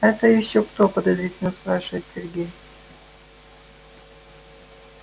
это ещё кто подозрительно спрашивает сергей